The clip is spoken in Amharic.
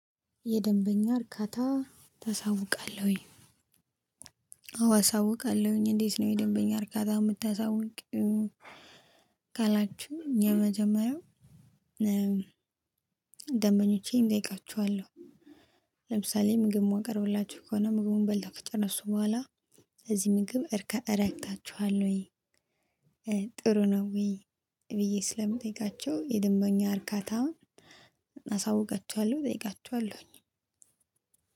የደንበኛ እርካታ ታሳውቃለሆይ። አዎ አሳውቃለሁኝ እንዴት ነው የደንበኛ እርካታ የምታሳውቂው? ካላችሁ የመጀመሪያው ደንበኞቼን እጠይቃቸዋለሁ። ለምሳሌ ምግብ ማቀርብላችሁ ከሆነ ምግቡን በልተው ከጨረሱ እሱ በኋላ በዚህ ምግብ እርከ እረክታችኋልወይ? ጥሩ ነው ወይ ብዬ ስለምጠይቃቸው የደንበኛ እርካታም አሳውቃቸዋለሁ። እጠይቃቸዋለሁኝ